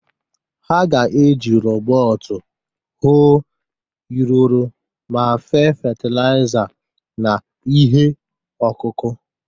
Ha ga-eji rọbọt hoo iriro ma fee fatịlaịza na ihe ọkụkụ.